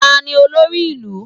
Tani olórí ìlú?